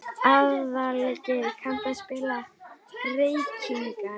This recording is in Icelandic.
Aðalgeir, kanntu að spila lagið „Reykingar“?